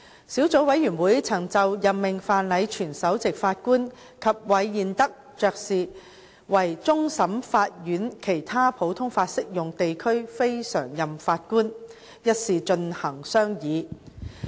小組委員會曾就任命范禮全首席法官及韋彥德勳爵為終審法院其他普通法適用地區非常任法官一事進行商議。